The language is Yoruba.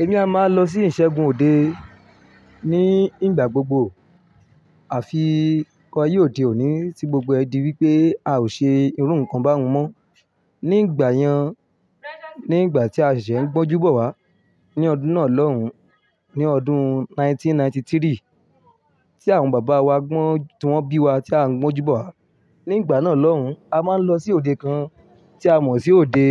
Èmi a máa lọ sí ìṣẹ́gun òde ní ìgbà gbogbo. Àfi àyé ó dé òní tí gbogbo ẹ̀ di wípé a ò ṣe irú nǹkan báhun mọ́. Ní ìgbà yẹn, ní ìgbà tí a ṣésè ń gbọ́njú bọ̀ wá ní ọdún náà lọ́hun, ní ọdún 1993 tí àwọn bàbá wa gbọ́n, tí wọ́n bí wa tí à ń gbọ́njú bọ̀ wá. Ní ìgbà náà lọ́hun, a máa ń lọ sí òde kan tí a mọ̀ sí òde,